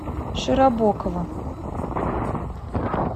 широбокова